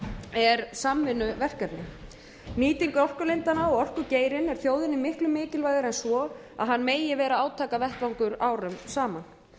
er samvinnuverkefni nýting orkulindanna og orkugeirinn er þjóðinni miklu mikilvægari en svo að hann megi vera átakavettvangur árum saman